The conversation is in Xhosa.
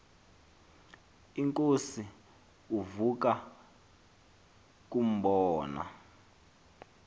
inkosi ukuza kumbona